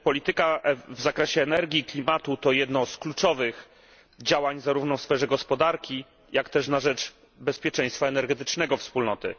Polityka w zakresie energii i klimatu to jedno z kluczowych działań zarówno w sferze gospodarki, jak też na rzecz bezpieczeństwa energetycznego Wspólnoty.